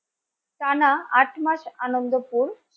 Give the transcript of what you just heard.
টানা আট মাস আনন্দপুর